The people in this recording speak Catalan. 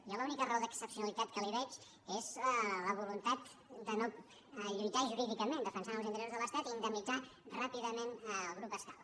jo l’única raó d’excepcionalitat que hi veig és la voluntat de no lluitar jurídicament defensant els interessos de l’estat i indemnitzar ràpidament el grup escal